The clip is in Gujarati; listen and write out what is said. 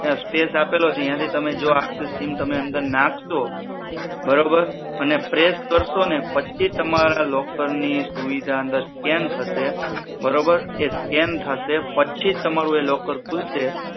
stash આપેલો છે અહિયાંથી તમે chip અંદર નાખશો બરોબર અને press કરશો ને પછી તમારી locker ની સુવિધા અંદર scan થશે બરોબર એ scan થાય પછી જ તમારું locker ખુલશે